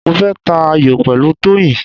Mo fẹ́ ta ayò pẹ̀lú Toyin.